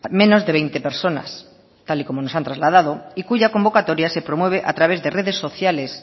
menos de veinte personas tal y como nos han trasladado y cuya convocatoria se promueve a través de redes sociales